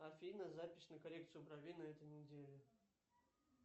афина запись на коррекцию бровей на этой неделе